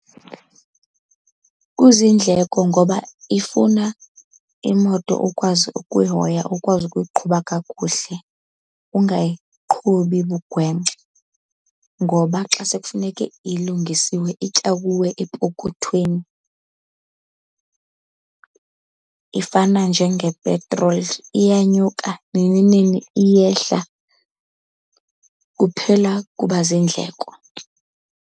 Kuzindleko ngoba ifuna imoto ukwazi ukuyihoya, ukwazi ukuyiqhuba kakuhle ungayiqhubi bugwenxa, ngoba xa sekufuneke ilungisiwe itya kuwe epokothweni. Ifana njengepetroli iyanyuka nini nini iyehla, kuphela kuba ziindleko.